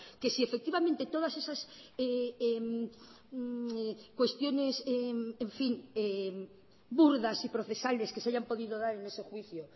que si efectivamente todas esas cuestiones en fin burdas y procesales que se hayan podido dar en ese juicio